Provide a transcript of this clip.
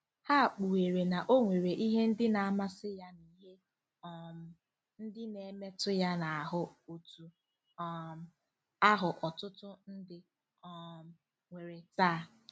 Ha kpughere na o nwere ihe ndị na-amasị ya na ihe um ndị na-emetụ ya n’ahụ́ otú um ahụ ọtụtụ ndị um nwere taa.